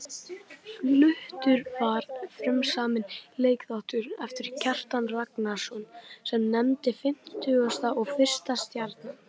Fluttur var frumsaminn leikþáttur eftir Kjartan Ragnarsson, sem nefndist Fimmtugasta og fyrsta stjarnan.